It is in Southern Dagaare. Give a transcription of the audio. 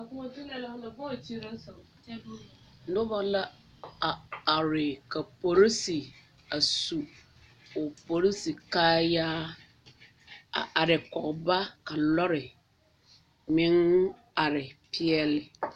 a koɔ tolɛɛ la fo na bang wa kyiri la so kyɛ bee noba la a are ka polisi a su o polisi kaayaa a are kɔgeba ka lɔɔre meng are peɛle